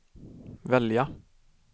välja